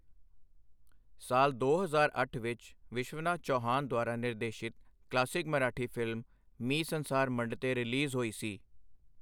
ਸਾਲ ਦੋ ਹਜ਼ਾਰ ਅੱਠ ਵਿੱਚ, ਵਿਸ਼ਵਨਾਥ ਚੌਹਾਨ ਦੁਆਰਾ ਨਿਰਦੇਸ਼ਿਤ classic Marathi film 'Mi Sansar Mandte' release ਹੋਈ ਸੀ।